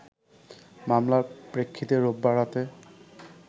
মামলার প্রেক্ষিতে রোববার রাতে